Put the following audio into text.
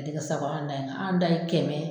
Ka di ka sago an ta in kan an ta ye kɛmɛ